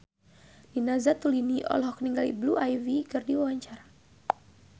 Nina Zatulini olohok ningali Blue Ivy keur diwawancara